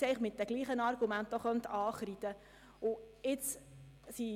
Dieser könnte mit denselben Argumenten auch infrage gestellt werden.